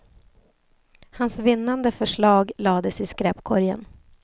Hans vinnande förslag lades i skräpkorgen.